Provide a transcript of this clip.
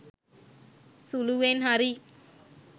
සුළුවෙන් හරි